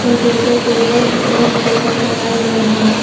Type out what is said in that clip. Computer table एवम् chairs लगाए गए है।